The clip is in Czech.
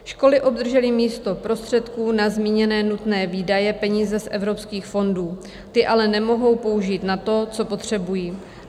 Školy obdržely místo prostředků na zmíněné nutné výdaje peníze z evropských fondů, ty ale nemohou použít na to, co potřebují.